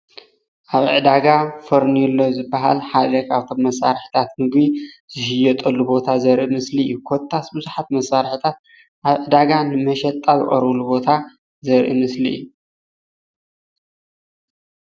ኣብ ዕዳገ ፌርኔሎ ዝበሃል ሓደ ካፎቶም መሣርሕታት ምግቢ ዝሽየጠሉ ዘርኢ ምስሊ እዩ።